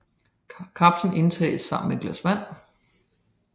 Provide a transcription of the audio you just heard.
Kapslen tages sammen med et glas vand